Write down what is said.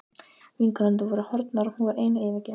Vinkonurnar voru horfnar og hún var ein og yfirgefin.